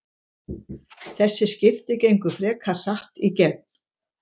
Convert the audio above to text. Þessi skipti gengu frekar hratt í gegn.